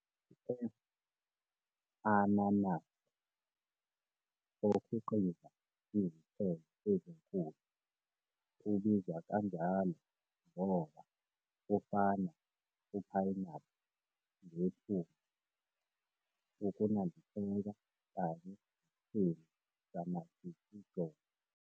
"F. ananassa", okhiqiza izithelo ezinkulu, ubizwa kanjalo ngoba ufana uphayinaphu ngephunga, ukunambitheka kanye nesimo samajikijolo.